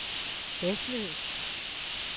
Vesløs